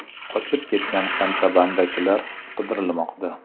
Qochib ketgan kontrabandachilar qidirilmoqda.